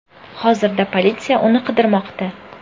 Hozirda politsiya uni qidirmoqda.